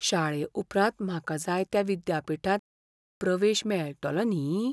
शाळे उपरांत म्हाका जाय त्या विद्यापीठांत प्रवेश मेळतलो न्ही?